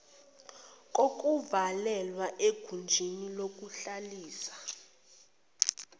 kokuvalelwa egunjini lokuhlalisa